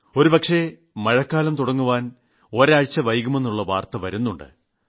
ഒരുപക്ഷേ മഴക്കാലം തുടങ്ങുവാൻ ഒരാഴ്ച വൈകുമെന്നുള്ള വാർത്ത വരുന്നുണ്ട്